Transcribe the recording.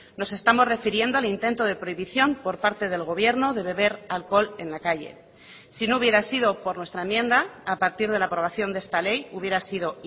nos estamos refiriendo al intento de prohibición por parte del gobierno de beber alcohol en la calle si no hubiera sido por nuestra enmienda a partir de la aprobación de esta ley hubiera sido